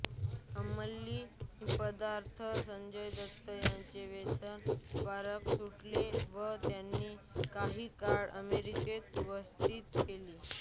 अंमली पदार्थांचे संजय दत्त यांचे व्यसन उपचारानंतर सुटले व त्यांनी काही काळ अमेरिकेत व्यतीत केला